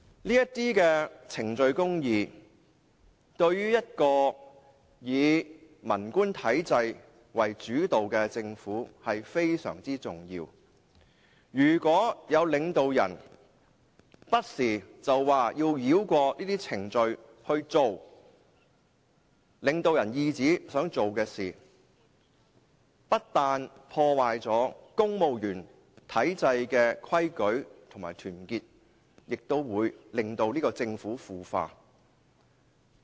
這些程序公義對一個以文官體制為主導的政府非常重要，如果有領導人不時要繞過這些程序行事，以領導人懿旨的方法辦事，不單會破壞公務員體制的規矩和團結，也會令政府腐化。